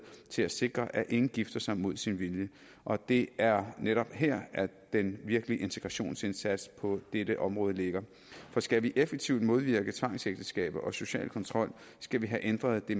til at sikre at ingen gifter sig mod sin vilje og det er netop her at den virkelig integrationsindsats på dette område ligger for skal vi effektivt modvirke tvangsægteskaber og social kontrol skal vi have ændret det